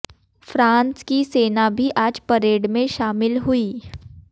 France की सेना भी आज परेड में शामिल हुई